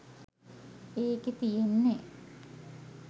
ඒකෙ තියෙන්නෙ